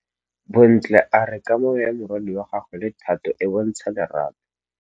Bontle a re kamanô ya morwadi wa gagwe le Thato e bontsha lerato.